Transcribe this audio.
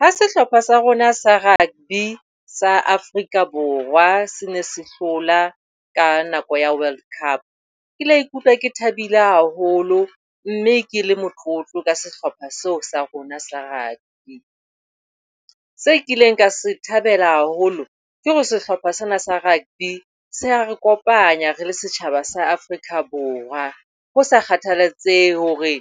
Ha sehlopha sa rona sa rugby sa Afrika Borwa se ne se hlola ka nako ya World Cup, ke la ikutlwa ke thabile haholo mme ke le motlotlo ka sehlopha seo sa rona sa rugby. Seo kileng ka se thabela haholo, ke hore sehlopha sena sa rugby se re kopanya re le setjhaba sa Afrika Borwa. Ho sa kgathalatsehe hore